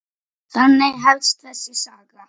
Þannig hefst þessi saga.